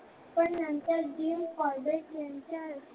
पण नंतर the corbage यांच्या